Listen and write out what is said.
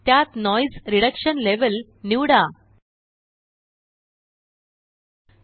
त्यात noise reduction level noise reduction level निवडा